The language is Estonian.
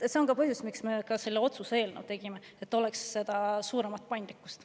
See on ka põhjus, miks me tegime otsuse eelnõu: et oleks suurem paindlikkus.